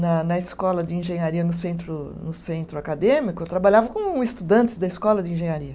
na na escola de engenharia no centro, no centro acadêmico, eu trabalhava com estudantes da escola de engenharia.